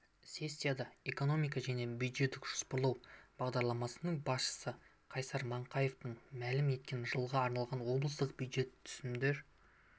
сессияда экономика және бюджеттік жоспарлау басқармасының басшысы қайсар маңқараевтың мәлім еткеніндей жылға арналған облыстық бюджет түсімдер